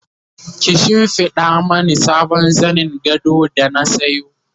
ki shimfiɗa Mani sabon zanin gado da na sayo